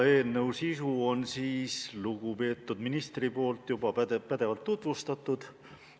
Eelnõu sisu on lugupeetud minister juba pädevalt tutvustanud.